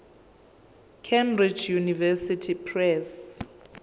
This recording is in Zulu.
cambridge university press